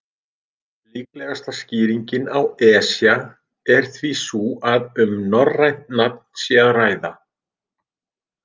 Líklegasta skýringin á Esja er því sú að um norrænt nafn sé að ræða.